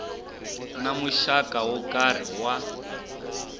na muxaka wo karhi wa